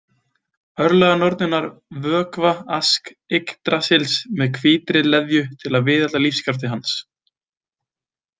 Örlaganornirnar vökva Ask Yggdrasils með hvítri leðju til að viðhalda lífskrafti hans.